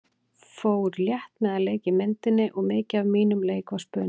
Ég fór létt með að leika í myndinni og mikið af mínum leik var spuni.